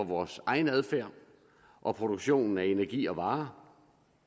vores egen adfærd og produktionen af energi og varer